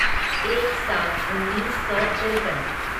एक सात उन्नीस सौ तिरपन